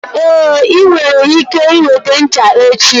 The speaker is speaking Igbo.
Ee, ị nwere ike weta ncha echi.